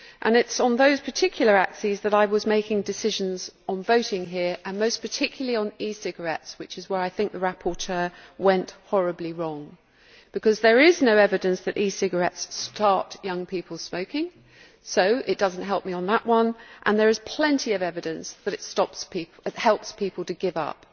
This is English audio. It is on those particular axes that I was making decisions on voting here and most particularly on e cigarettes, which is where I think the rapporteur went horribly wrong, because there is no evidence that e cigarettes start young people smoking, so it does not help me on that one, and there is plenty of evidence that it helps people to give up.